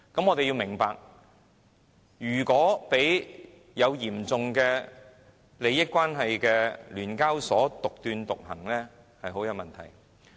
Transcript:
我們要明白，如果讓有嚴重利益關係的聯交所獨斷獨行，是很有問題的。